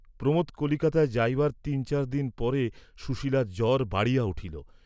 প্রমােদ কলিকাতায় যাইবার তিন চার দিন পরে সুশীলার জ্বব বাড়িয়া উঠিল।